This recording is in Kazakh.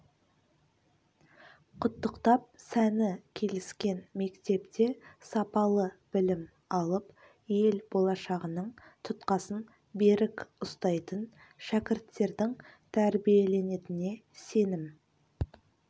құттықтап сәні келіскен мектепте сапалы білім алып ел болашағының тұтқасын берік ұстайтын шәкірттердің тәрбиеленетініне сенім